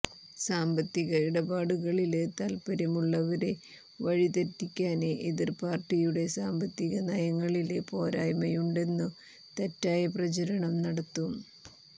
സാമ്പത്തിക ഇടപാടുകളില് താത്പര്യമുള്ളവരെ വഴിതെറ്റിക്കാന് എതിര് പാര്ട്ടിയുടെ സാമ്പത്തിക നയങ്ങളില് പോരായ്മയുണ്ടെന്നു തെറ്റായ പ്രചാരണം നടത്തും